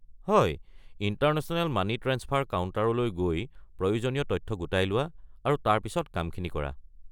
হয়, international money transfer কাউণ্টাৰলৈ গৈ প্ৰয়োজনীয় তথ্য গোটাই লোৱা আৰু তাৰ পিছত কামখিনি কৰা।